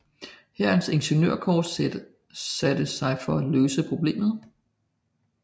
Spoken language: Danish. Hærens ingeniørkorps satte sig for at løse problemet